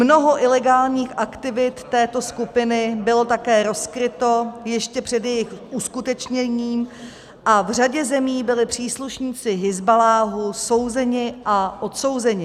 Mnoho ilegálních aktivit této skupiny bylo také rozkryto ještě před jejich uskutečněním a v řadě zemí byli příslušníci Hizballáhu souzeni a odsouzeni.